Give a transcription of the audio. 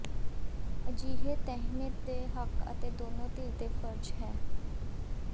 ਅਜਿਹੇ ਤਅਿਹਮ ਦੇ ਹੱਕ ਅਤੇ ਦੋਨੋ ਧਿਰ ਦੇ ਫਰਜ਼ ਹੈ